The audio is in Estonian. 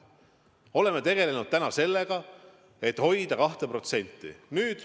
Me oleme tegelenud sellega, et hoida 2%.